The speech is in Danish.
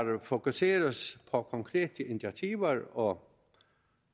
fokuseres på konkrete initiativer og